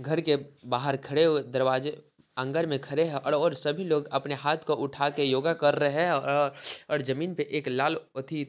घर के बाहर खड़े हुए दरवाजे आंगन में खड़े है और सभी लोग अपने हाथ को उठाके योगा कर रहे है औ और जमीन पे एक लाल अथी--